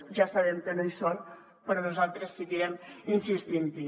ja sabem que no hi són però nosaltres seguirem insistint hi